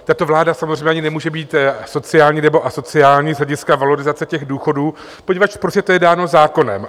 Tato vláda samozřejmě ani nemůže být sociální nebo asociální z hlediska valorizace těch důchodů, poněvadž prostě to je dáno zákonem.